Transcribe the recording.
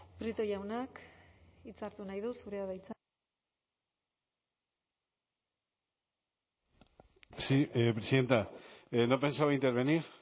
prieto jaunak hitza hartu nahi du zurea de hitza sí presidenta no pensaba intervenir